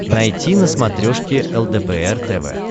найти на смотрешке лдпр тв